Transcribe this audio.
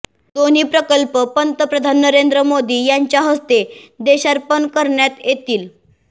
दोन्ही प्रकल्प पंतप्रधान नरेंद्र मोदी यांच्या हस्ते देशार्पण करण्यात येतील